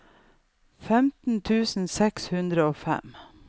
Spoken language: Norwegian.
femtien tusen seks hundre og fem